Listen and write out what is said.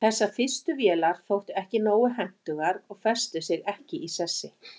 þessar fyrstu vélar þóttu ekki nógu hentugar og festu sig ekki í sessi